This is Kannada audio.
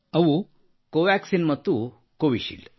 ಅವು ಕೋವ್ಯಾಕ್ಸೀನ್ ಮತ್ತು ಕೋವಿಶೀಲ್ಡ್